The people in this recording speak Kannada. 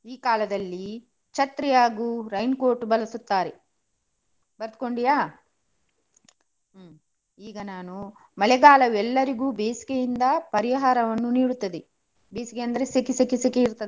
ಈ ಕಾಲದಲ್ಲಿ ಛತ್ರಿ ಹಾಗೂ rain coat ಬಳಸುತ್ತಾರೆ. ಬರ್ದುಕೊಂಡಿಯಾ? ಹ್ಮ್ ಈಗ ನಾನು ಮಳೆಗಾಲ ಎಲ್ಲರಿಗೂ ಬೇಸಿಗೆಯಿಂದ ಪರಿಹಾರವನ್ನು ನೀಡುತ್ತದೆ. ಬೇಸಿಗೆ ಅಂದ್ರೆ ಸೆಕೆ ಸೆಕೆ ಸೆಕೆ ಇರ್ತದಲ್ಲ.